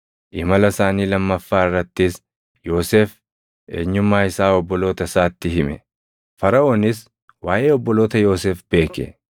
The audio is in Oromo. Imala isaanii lammaffaa irrattis Yoosef eenyummaa isaa obboloota isaatti hime; Faraʼoonis waaʼee obboloota Yoosef beeke.